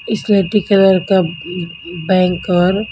इसलेटी colour का बैंक और--